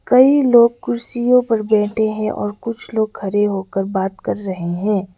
कई लोग कुर्सियों पर बैठे हैं और कुछ लोग खड़े होकर बात कर रहे हैं।